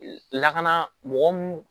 Lakana mɔgɔ mun